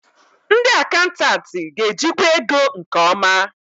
Ndị akantantịị ga-ejikwa ego nke ọma.